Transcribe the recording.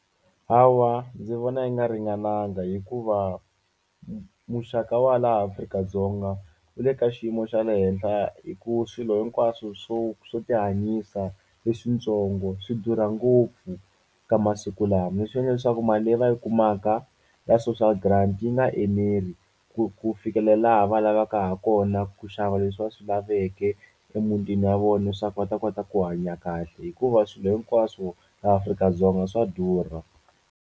Hawa ndzi vona yi nga ringananga hikuva muxaka wa laha Afrika-Dzonga wu le ka xiyimo xa le henhla hi ku swilo hinkwaswo swo swo tihanyisa leswitsongo swi durha ngopfu ka masiku lama leswi endla leswaku mali leyi va yi kumaka ya social grant yi nga eneli ku ku fikela laha va lavaka hakona ku xava leswi va swi laveke emutini ya vona leswaku va ta kota ku hanya kahle hikuva swilo hinkwaswo laha Afrika-Dzonga swa durha.